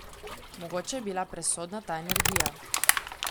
Mogoče je bila presodna ta energija.